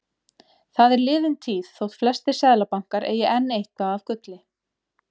Það er liðin tíð þótt flestir seðlabankar eigi enn eitthvað af gulli.